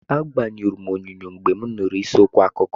Agbanyụrụ m onyonyo mgbe m nụrụ isi okwu akụkọ.